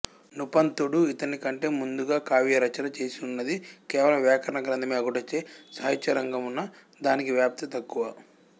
నృపంతుడు ఈతనికంటె ముందుగా కావ్యరచన చేసిననునది కేవలము వ్యాకరణ గ్రంథమే అగుటచే సాహిత్యరంగమున దానికి వ్యాప్తి తక్కువ